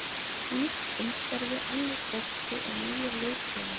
Nýtt umhverfi, annar bolti og nýir liðsfélagar.